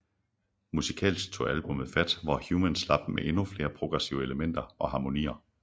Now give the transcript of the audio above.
Musikalsk tog albummet fat hvor Human slap med endnu flere progressive elementer og harmonier